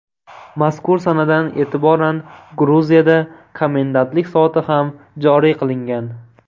Mazkur sanadan e’tiboran Gruziyada komendantlik soati ham joriy qilingan .